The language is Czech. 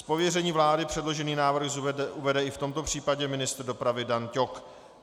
Z pověření vlády předložený návrh uvede i v tomto případě ministr dopravy Dan Ťok.